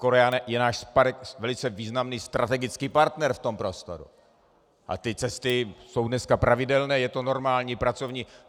Korea je náš velice významný strategický partner v tom prostoru a ty cesty jsou dneska pravidelné, je to normální pracovní...